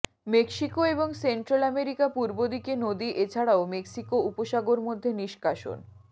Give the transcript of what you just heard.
Mexico এবং Central America পূর্ব দিকে নদী এছাড়াও মেক্সিকো উপসাগর মধ্যে নিষ্কাশন